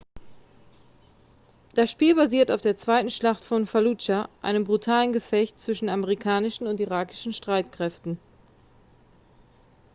das spiel basiert auf der zweiten schlacht von falludscha einem brutalen gefecht zwischen amerikanischen und irakischen streitkräften